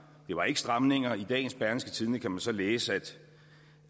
det var ikke stramninger i dagens berlingske tidende kan vi så læse